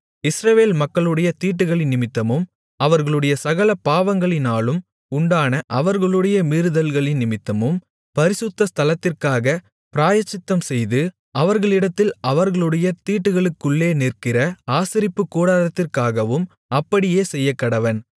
இஸ்ரவேல் மக்களுடைய தீட்டுகளினிமித்தமும் அவர்களுடைய சகல பாவங்களினாலும் உண்டான அவர்களுடைய மீறுதல்களினிமித்தமும் பரிசுத்த ஸ்தலத்திற்காகப் பிராயச்சித்தம்செய்து அவர்களிடத்தில் அவர்களுடைய தீட்டுகளுக்குள்ளே நிற்கிற ஆசரிப்புக்கூடாரத்திற்காகவும் அப்படியே செய்யக்கடவன்